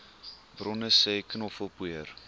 bronne sê knoffelpoeier